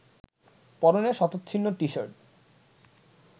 পরনে শতচ্ছিন্ন টি-শার্ট